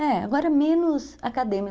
É, agora menos acadê.